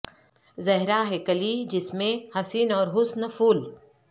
زہرا ہے کلی جس میں حسین اور حسن پھول